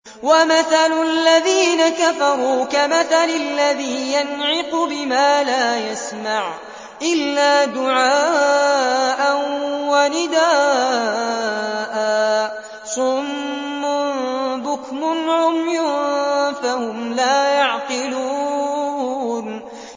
وَمَثَلُ الَّذِينَ كَفَرُوا كَمَثَلِ الَّذِي يَنْعِقُ بِمَا لَا يَسْمَعُ إِلَّا دُعَاءً وَنِدَاءً ۚ صُمٌّ بُكْمٌ عُمْيٌ فَهُمْ لَا يَعْقِلُونَ